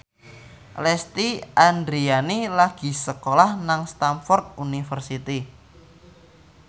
Lesti Andryani lagi sekolah nang Stamford University